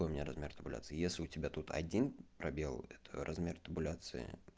какой у меня размер табуляции если у тебя тут один пробел это размер табуляции